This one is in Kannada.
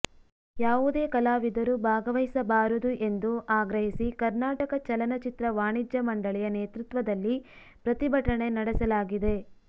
ಯಾವುದೇ ಕಲಾವಿದರು ಭಾಗವಹಿಸಬಾರದು ಎಂದು ಆಗ್ರಹಿಸಿ ಕರ್ನಾಟಕ ಚಲನಚಿತ್ರ ವಾಣಿಜ್ಯ ಮಂಡಳಿಯ ನೇತೃತ್ವದಲ್ಲಿ ಪ್ರತಿಭಟನೆ ನಡೆಸಲಾಗಿದೆ